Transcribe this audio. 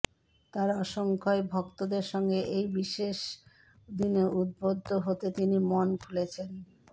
তাঁর অসংখ্য় ভক্তদের সঙ্গে এই বিশেষ দিনে উদ্ভুদ্ধ হতে তিনি মন খুলেছেন